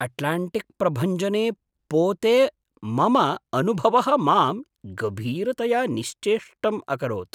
अट्लाण्टिक्प्रभञ्जने पोते मम अनुभवः मां गभीरतया निश्चेष्टम् अकरोत्।